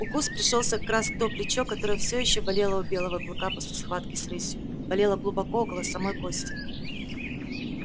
укус пришёлся как раз в то плечо которое все ещё болело у белого клыка после схватки с рысью болело глубоко около самой кости